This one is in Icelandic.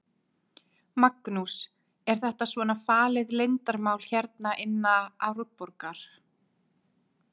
Magnús: Er þetta svona falið leyndarmál hérna inna Árborgar?